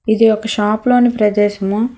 ఇది ఒక షాప్ లోని ప్రదేశము.